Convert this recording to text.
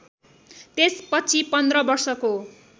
त्यसपछि पन्ध्र वर्षको